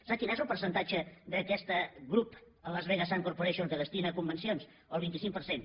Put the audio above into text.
sap quin és el percentatge d’aquest grup a las vegas sands corporation que destina a convencions el vint cinc per cent